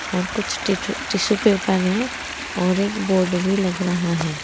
और कुछ टिचु टिशू पेपर है और एक बोर्ड भी लग रहा है।